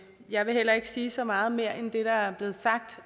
jeg vil heller ikke sige så meget mere end det der er blevet sagt